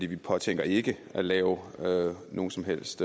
vi påtænker ikke at lave lave nogen som helst